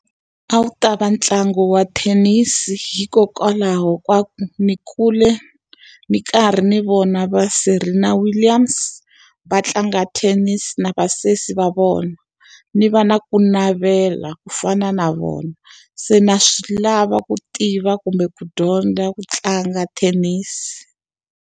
A wu ta va ntlangu wa thenisi hikokwalaho ka ku ndzi kule ndzi nkarhi ndzi vona va Serena Williams va tlanga thenisi na vasesi va vona, ni va na ku navela ku fana na vona. Se na swi lava ku tiva kumbe ku dyondza ku tlanga thenisi.